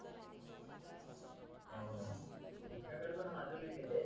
तुमच्या कढे पण बाजूला का ते